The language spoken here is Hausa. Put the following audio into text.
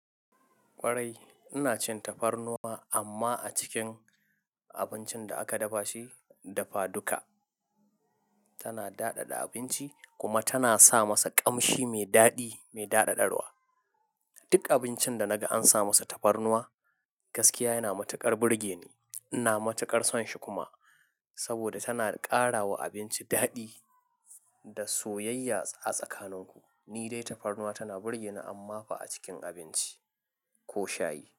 Kwarai, ina cin tafarnuwa, amma a cikin abincin da aka dafa shi dafa duka. Tana daɗaɗa abinci kuma tana sa masa ƙamshi mai daɗi, mai daɗaɗarwa. Duk abincin da naga an sa masa tafarnuwa, gaskiya yana matuƙar burge ni. Ina matuƙar son shi kuma. Saboda tana ƙarawa abinci daɗi da soyayya a tsakanin ku. Ni dai tafarnuwa tana burge ni amma ba a cikin abinci ko shayi.